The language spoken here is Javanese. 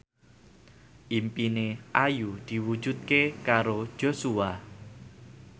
impine Ayu diwujudke karo Joshua